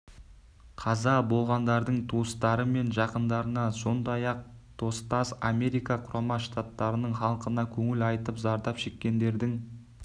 қаза болғандардың туыстары мен жақындарына сондай-ақ достас америка құрама штаттарының халқына көңіл айтып зардап шеккендердің